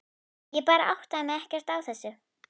Ég bara áttaði mig ekkert á þessu.